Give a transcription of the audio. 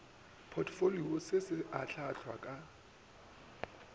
potfolio se se ahlaahlwa ka